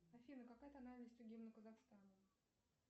афина какая тональность у гимна казахстана